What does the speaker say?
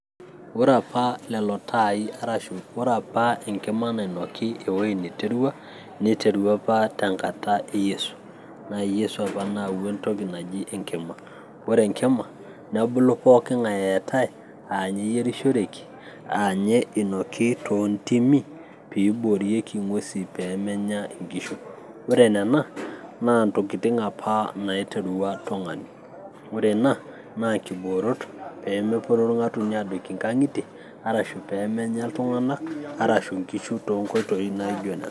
ore apa lelo taai arashu ore apa enkima nainoki ewoi niterua apa tenkata e yiesu, naa yiesu apa naawua entoki naji enkima ore enkima nebulu pooking'ae eetay aanye eyierishoreki aanye inoki toontimi piiborieki ing'uesi peemenya inkishu ore nena naa ntokitin apa naiterua tung'ani ore ina naa inkiboorot pee meporu irng'atunyo adoiki inkang'itie arashu peemenya iltung'anak arshu inkishu toonkoitoi naijo nena.